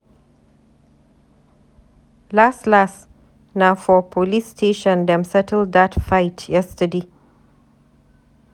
Las las, na for police station dem settle dat fight yesterday.